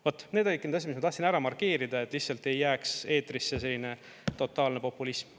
Vaat need olidki need asjad, mis ma tahtsin ära markeerida, et lihtsalt ei jääks eetrisse selline totaalne populism.